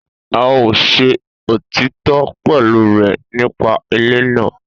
A o se òtítọ pẹ̀lú rẹ nípa ilé náà